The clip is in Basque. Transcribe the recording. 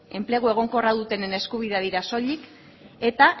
enplegu egonkorra dutenen eskubideak dira soilik eta